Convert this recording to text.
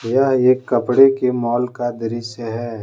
यह एक कपड़े के मॉल का दृस्य है।